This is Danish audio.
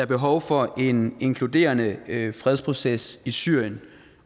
behov for en inkluderende fredsproces i syrien